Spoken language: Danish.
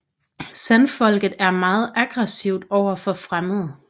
Sandfolket er meget aggressivt overfor fremmede